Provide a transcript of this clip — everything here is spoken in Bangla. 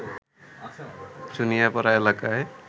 চুনিয়াপাড়া এলাকায়